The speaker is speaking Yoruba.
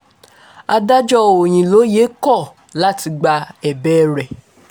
adájọ́ òyìnlóye kọ̀ láti gba ẹ̀bẹ̀ rẹ